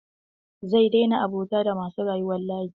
Zai daina abota da masu rayuwar layi.